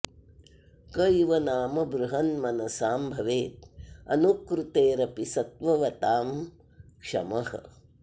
क इव नाम बृहन्मनसां भवेद् अनुकृतेरपि सत्त्ववतां क्षमः